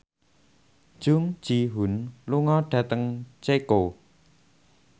Jung Ji Hoon lunga dhateng Ceko